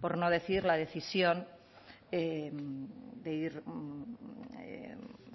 por no decir la decisión de ir